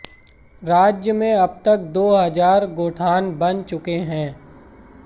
राज्य में अब तक दो हजार गोठान बन चुके हैं